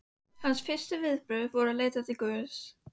Hans fyrstu viðbrögð voru að leita til Guðs.